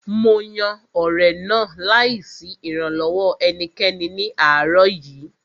Mo yan ọ̀rẹ̀ náà láì sí ìrànlọ́wọ́ ẹnikẹ́ni ní àárọ̀ yìí